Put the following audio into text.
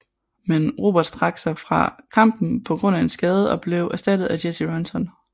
Men Roberts træk sig fra kampen på grund af en skade og blev erstattet af Jesse Ronson